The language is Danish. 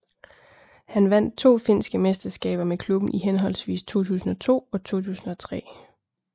Han vandt to finske mesterskaber med klubben i henholdsvis 2002 og 2003